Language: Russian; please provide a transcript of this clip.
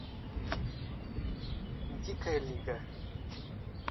дикая лига